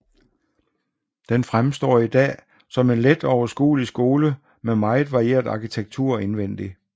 Den fremstår i dag som en let og overskuelig skole med meget varieret arkitektur indvendig